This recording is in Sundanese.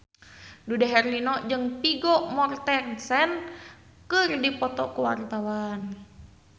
Dude Herlino jeung Vigo Mortensen keur dipoto ku wartawan